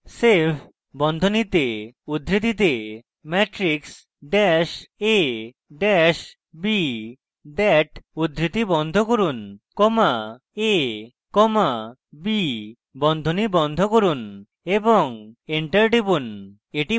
save বন্ধনীতে উদ্ধৃতিতে matrix dat a dat b dot dat উদ্ধৃতি বন্ধ করুন comma a comma b বন্ধনী বন্ধ করুন এবং enter টিপুন